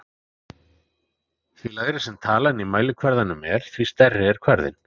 Því lægri sem talan í mælikvarðanum er, því stærri er kvarðinn.